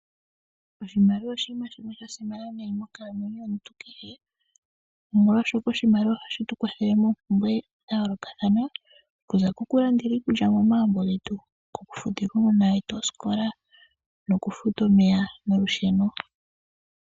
Oshimaliwa oshinima shimwe sha simana monkalamwenyo yomuntu kehe, nomolwashoka oshimaliwa ohashi tu kwathele moompumbwe dha yoolokathana, okuza kokulandela iikulya momagumbo getu, okufutila uunona wetu osikola nokufuta omeya nolusheno.